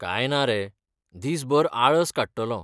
काय ना रे, दीसभर आळस काडटलों .